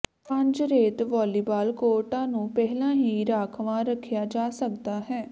ਪੰਜ ਰੇਤ ਵਾਲੀਬਾਲ ਕੋਰਟਾਂ ਨੂੰ ਪਹਿਲਾਂ ਹੀ ਰਾਖਵਾਂ ਰੱਖਿਆ ਜਾ ਸਕਦਾ ਹੈ